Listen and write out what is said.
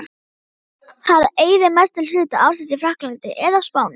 Hann eyðir mestum hluta ársins í Frakklandi eða á Spáni.